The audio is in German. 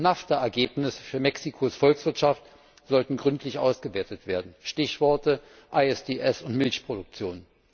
Und NAFTA Ergebnisse für Mexikos Volkswirtschaft sollten gründlich ausgewertet werden Stichworte ISDS und Milchproduktion.